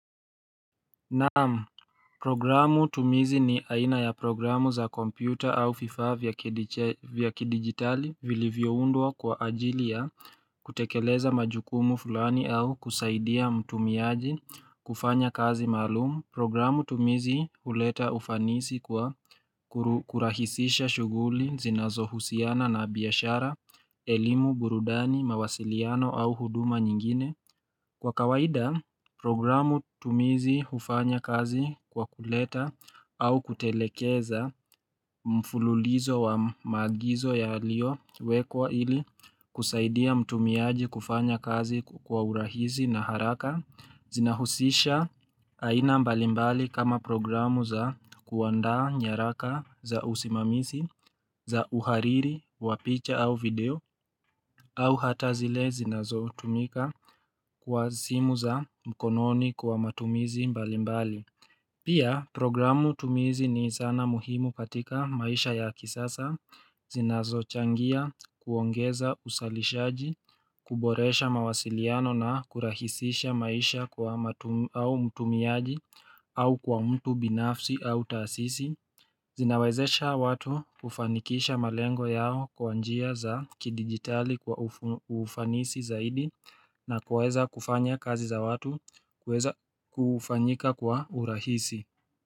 Naam, programu tumizi ni aina ya programu za kompyuta au viifaa vya kidigitali vilivyoundwa kwa ajili ya kutekeleza majukumu fulani au kusaidia mtumiaji kufanya kazi maalum. Programu tumizi huleta ufanisi kwa kurahisisha shughuli, zinazohusiana na biashara, elimu, burudani, mawasiliano au huduma nyingine. Kwa kawaida, programu tumizi hufanya kazi kwa kuleta au kutelekeza mfululizo wa maagizo yaliyowekwa ili kusaidia mtumiaji kufanya kazi kwa urahisi na haraka. Zinahusisha aina mbalimbali kama programu za kuandaa nyaraka za usimamisi, za uhariri, wa picha au video au hata zile zinazotumika kwa simu za mkononi kwa matumizi mbalimbali Pia programu tumizi ni zana muhimu katika maisha ya kisasa Zinazochangia kuongeza uzalishaji, kuboresha mawasiliano na kurahisisha maisha au mtumiaji au kwa mtu binafsi au tasisi Zinawezesha watu kufanikisha malengo yao kwa njia za kidigitali kwa ufanisi zaidi na kuweza kufanya kazi za watu kuweza kufanyika kwa urahisi.